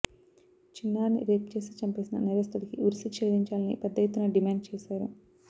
చిన్నారిని రేప్ చేసి చంపేసిన నేరస్తుడికి ఉరి శిక్ష విధించాలని పెద్ద ఎత్తున డిమాండ్ చేశారు